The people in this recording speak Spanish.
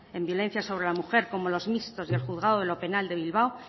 en violencia sobre la mujer como los mixtos del juzgado de lo penal de bilbao